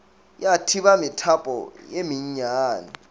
ya thiba methapo ye mennyane